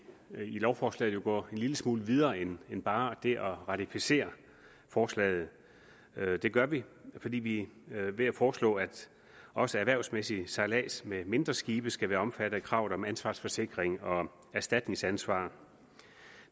jo i lovforslaget går en lille smule videre end end bare det at ratificere forslaget det gør vi fordi vi foreslår at også erhvervsmæssig sejlads med mindre skibe skal være omfattet af kravet om ansvarsforsikring og om erstatningsansvar